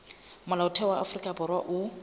molaotheo wa afrika borwa o